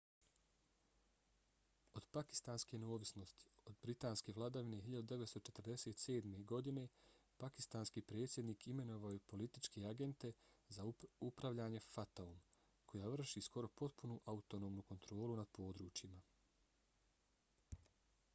od pakistanske neovisnosti od britanske vladavine 1947. godine pakistanski predsjednik imenovao je političke agente za upravljanje fata-om koja vrši skoro potpunu autonomnu kontrolu nad područjima